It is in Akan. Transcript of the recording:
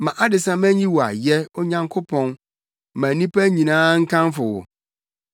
Ma adesamma nyi wo ayɛ, Onyankopɔn; ma nnipa nyinaa nkamfo wo!